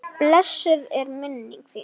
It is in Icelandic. Blessuð er minning þín.